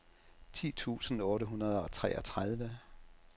ti tusind otte hundrede og treogtredive